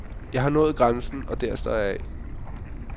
Jeg har nået grænsen, og der står jeg af.